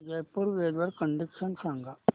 Jaipur weather condition सांगा